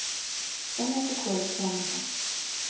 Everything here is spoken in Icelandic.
Spennandi kvöld framundan